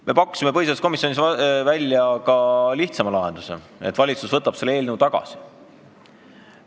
Me pakkusime põhiseaduskomisjonis välja ka lihtsama lahenduse, et valitsus võtab selle eelnõu tagasi.